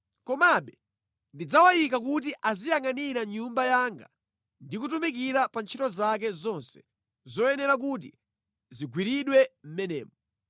Komabe ndidzawayika kuti aziyangʼanira Nyumba yanga ndi kutumikira pa ntchito zake zonse zoyenera kuti zigwiridwe mʼmenemo.